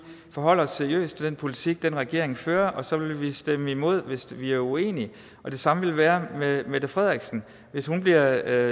forholde os seriøst til den politik den regering fører og så vil vi stemme imod hvis vi er uenige det samme vil være med mette frederiksen hvis hun bliver